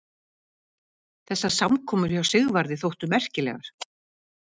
Þessar samkomur hjá Sigvarði þóttu merkilegar.